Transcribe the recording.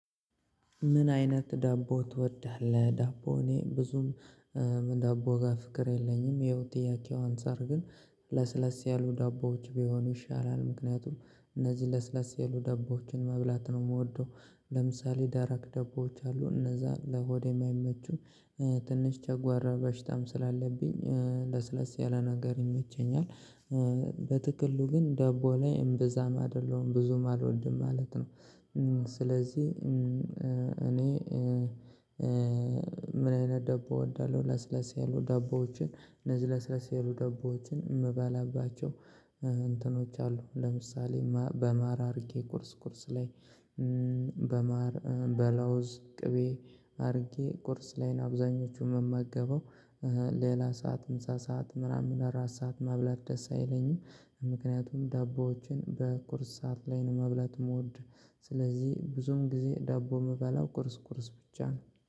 ምን አይነት ዳቦ ትወድሃለህ? ዳቦ እኔ ብዙም ዳቦ ጋር ፍቅር የለኝም። ያው ከጥያቄው አንፃር ግን ለስለስ ያሉ ዳቦዎች ቢሆኑ ይሻላል። ምክንያቱም እነዚህ ለስለስ ያሉ ዳቦዎችን መብላት ነው የምወደው። ለምሳሌ ደረቅ ደቦች አሉ እነዛ ለሆድም አይመቹም። ትንሽ ጨጓራ በሽታም ስላለብኝ ለስለስ ያለ ነገር ይመቸኛል። በጥቅሉ ግን ደቦ ላይ እምብዛም አይደለሁም ብዙም አልወድም ማለት ነው። ስለዚህ እኔ ምን አይነት ደቦ እወዳለሁ? ለስለስ ያሉ ደቦዎችን እነዝ ለስለስ የሉ ደቦዎችን እምባላባቸው። እንትኖች አሉ ለምሳሌ በማር አርጌ ቁርስ ቁርስ ላይ። በማር በለውዝ ቅቤ አድርጌ ቁርስ ላይ አብዛኞቹን መመገበው። ሌላ ሰዓት ምሳ ሰዓት ምናምን እራት ሰዓት መብላት ደስ አይለኝም። ምክንያቱም ዳቦዎችን በቁርስ ሰዓት ላይ መብለት ምወድ። ስለዚህ ብዙም ጊዜ ዳቦ ምበላው ቁርስ ቁርስ ብቻ ነው